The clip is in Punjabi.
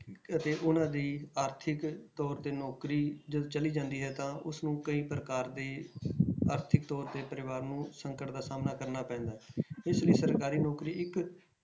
ਅਤੇ ਉਹਨਾਂ ਦੀ ਆਰਥਿਕ ਤੌਰ ਤੇ ਨੌਕਰੀ ਜਦੋਂ ਚਲੀ ਜਾਂਦੀ ਹੈ ਤਾਂ ਉਸਨੂੰ ਕਈ ਪ੍ਰਕਾਰ ਦੇ ਆਰਥਿਕ ਤੌਰ ਤੇ ਪਰਿਵਾਰ ਨੂੰ ਸੰਕਟ ਦਾ ਸਾਹਮਣਾ ਕਰਨਾ ਪੈਂਦਾ ਹੈ ਇਸ ਲਈ ਸਰਕਾਰੀ ਨੌਕਰੀ ਇੱਕ